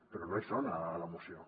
però no hi són a la moció